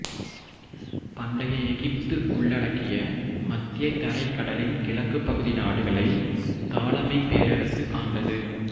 பண்டைய எகிப்து உள்ளடக்கிய மத்தியதரைக் கடலின் கிழக்குப் பகுதி நாடுகளை தாலமைக் பேரரசு ஆண்டது